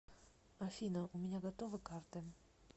афина у меня готовы карты